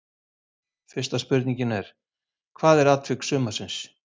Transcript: Fyrsta spurningin er: Hvað er atvik sumarsins?